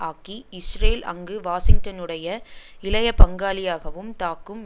ஆக்கி இஸ்ரேல் அங்கு வாஷிங்டனுடைய இளைய பங்காளியாகவும் தாக்கும்